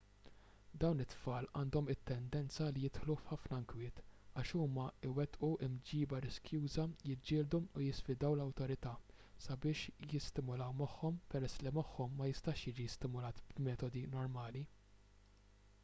dawn it-tfal għandhom it-tendenza li jidħlu f'ħafna inkwiet għax huma jwettqu mġiba riskjuża jiġġieldu u jisfidaw l-awtorità sabiex jistimulaw moħħhom peress li moħħhom ma jistax jiġi stimulat b'metodi normali